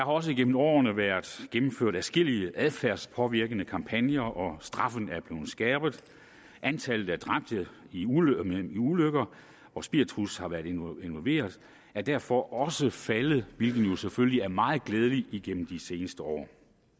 også gennem årene været gennemført adskillige adfærdspåvirkende kampagner og straffen er blevet skærpet antallet af dræbte i ulykker ulykker hvor spiritus har været involveret er derfor også faldet hvilket jo selvfølgelig er meget glædeligt igennem de seneste år